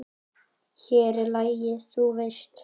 Hér er lagið, þú veist!